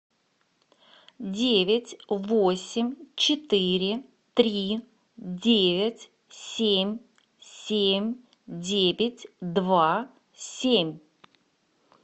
девять восемь четыре три девять семь семь девять два семь